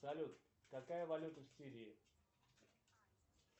салют какая валюта в сирии